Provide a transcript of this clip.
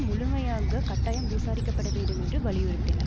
முழுமையாக கட்டாயம் விசாரிக்கப்பட வேண்டும் என்று வலியுறுத்தின